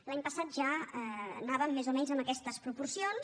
l’any passat ja anàvem més o menys en aquestes proporcions